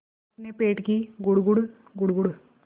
अपने पेट की गुड़गुड़ गुड़गुड़